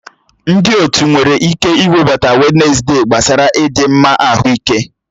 Ndị otu nwere ike iwebata Wednesde gbasara ịdị mma ahụike.